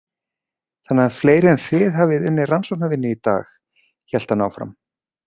Þannig að fleiri en þið hafið unnið rannsóknavinnu í dag, hélt hann áfram.